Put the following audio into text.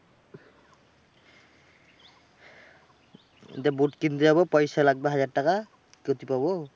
একটা বুট কিনতে যাবো পয়সা লাগবা হাজার টাকা। বলছি পাবো